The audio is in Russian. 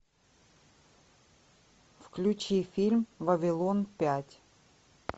включи фильм вавилон пять